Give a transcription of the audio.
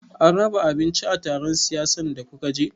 An raba abinci a taron siyasan da kuka je?